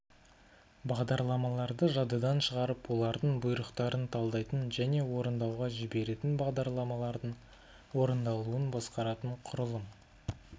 бағдарламаларды жадыдан шығарып олардың бұйрықтарын талдайтын және орындауға жіберетін бағдарламалардың орындалуын басқаратын құрылым